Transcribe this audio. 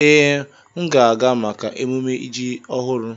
Ee, m ga-aga maka emumme ji ọhụrụ.